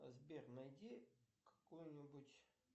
сбер найди какой нибудь